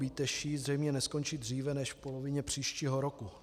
Bíteší zřejmě neskončí dříve než v polovině příštího roku.